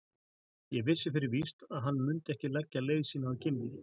Ég vissi fyrir víst að hann mundi ekki leggja leið sína að Gimli.